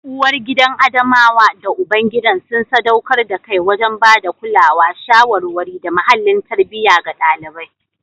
Uwargidan Adamawa da ubangidan sun sadaukar da kai wajen ba da kulawa, shawarwari, da muhallin tarbiyya ga ɗalibai.